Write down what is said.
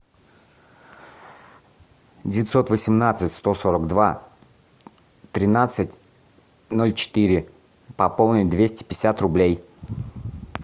девятьсот восемнадцать сто сорок два тринадцать ноль четыре пополнить двести пятьдесят рублей